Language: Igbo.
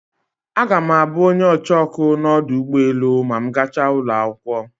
Aga me abu onye ocheoku na odu ugboelu ma m gacha ulo akwokwo.